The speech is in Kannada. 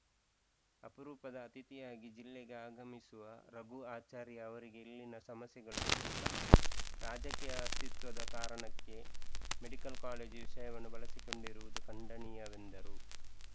ಅಪರೂಪದ ಅತಿಥಿಯಾಗಿ ಜಿಲ್ಲೆಗೆ ಆಗಮಿಸುವ ರಘು ಆಚಾರ್ಯ ಅವರಿಗೆ ಇಲ್ಲಿನ ಸಮಸ್ಯೆಗಳು ಗೊತ್ತಿಲ್ಲ ರಾಜಕೀಯ ಅಸ್ತಿತ್ವದ ಕಾರಣಕ್ಕೆ ಮೆಡಿಕಲ್‌ ಕಾಲೇಜು ವಿಷಯವನ್ನು ಬಳಸಿಕೊಂಡಿರುವುದು ಖಂಡನೀಯವೆಂದರು